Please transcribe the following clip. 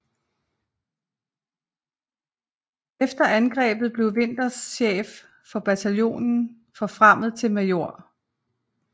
Efter angrebet blev Winters chef for bataljonen og forfremmet til major